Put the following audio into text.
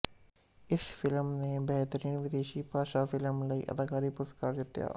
ਇਸ ਫਿਲਮ ਨੇ ਬਹਿਤਰੀਨ ਵਿਦੇਸ਼ੀ ਭਾਸ਼ਾ ਫਿਲਮ ਲਈ ਅਕਾਦਮੀ ਪੁਰਸਕਾਰ ਜਿੱਤਿਆ